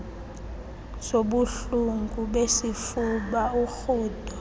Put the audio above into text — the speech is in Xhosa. zobuhlungu besifuba urhudo